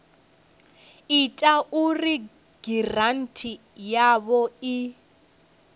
ita uri giranthi yavho i